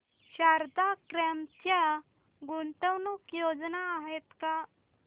Sharda crop च्या गुंतवणूक योजना आहेत का